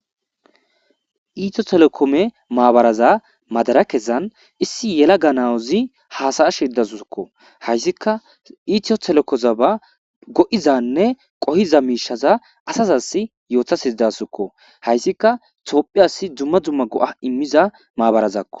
iito telokome maabaraza madara kesan issi yela ganawuzi haasaya shirdasukko hayssikka iitio telokoza ba go7izanne qohiza miishaza asazas yootas hizdasukko hayssikka toophi asi dumma dzumma go7a immiza maabarazakko